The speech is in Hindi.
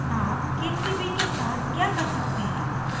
आप k3b के साथ क्या कर सकते हैं